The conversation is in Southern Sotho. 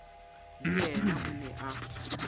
le yena o ne a